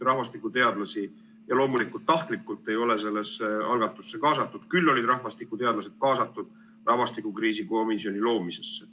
Rahvastikuteadlasi – loomulikult tahtlikult – ei ole sellesse algatusse kaasatud, küll olid rahvastikuteadlased kaasatud rahvastikukriisi komisjoni loomisesse.